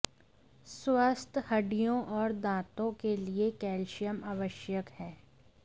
स्वस्थ हड्डियों और दांतों के लिए कैल्शियम आवश्यक है